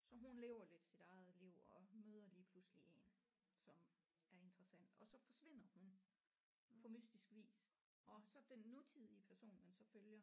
Så hun lever lidt sit eget liv og hun møder lige pludselig en som er interessant og så forsvinder hun på mystisk vis og så den nutidige person man så følger